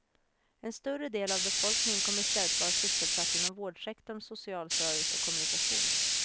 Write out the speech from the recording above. En större del av befolkningen kommer i stället att vara sysselsatt inom vårdsektorn, social service och kommunikation.